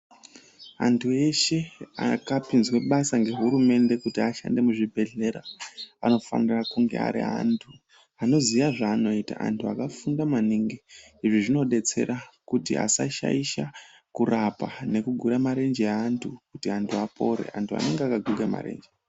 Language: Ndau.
Antu eshe akapinzwe basa ngehurumende kuti ashande muzvibhedhera anofanira kunge ari antu anoziya zvaanoita antu akafunda maningi. Izvi zvinodetsera kuti asashaisha kurapa ngekugura marenje aantu kuti antu apore, antu anenga akagurika marenje...